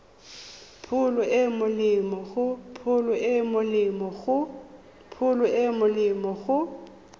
pholo e e molemo go